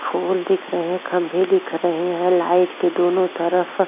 फूल दिख रहे हैं। खंभे दिख रहे हैं। लाइट के दोनों तरफ --